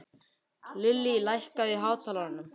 Lillý, lækkaðu í hátalaranum.